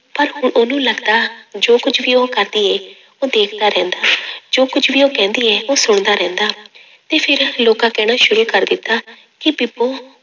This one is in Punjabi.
ਪਰ ਹੁਣ ਉਹਨੂੰ ਲੱਗਦਾ ਜੋ ਕੁੱਝ ਵੀ ਉਹ ਕਰਦੀ ਹੈ, ਉਹ ਦੇਖਦਾ ਰਹਿੰਦਾ ਜੋ ਕੁੱਝ ਵੀ ਉਹ ਕਹਿੰਦੀ ਹੈ ਉਹ ਸੁਣਦਾ ਰਹਿੰਦਾ ਤੇ ਫਿਰ ਲੋਕਾਂ ਕਹਿਣਾ ਸ਼ੁਰੂ ਕਰ ਦਿੱਤਾ, ਕਿ ਬੀਬੋ